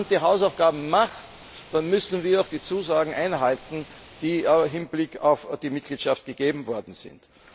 Wenn ein Land seine Hausaufgaben macht, dann müssen wir auch die Zusagen einhalten, die im Hinblick auf die Mitgliedschaft gegeben worden sind.